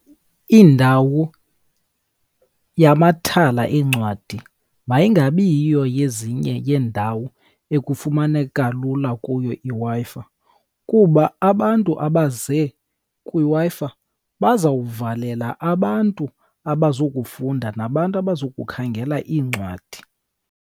Indawo yamathala eencwadi mayingabiyiyo yezinye yendawo ekufumaneka lula kuyo iWi-Fi, kuba abantu abaze kwiWi-Fi bazawuvalela abantu abazokufunda nabantu abazokukhangela iincwadi.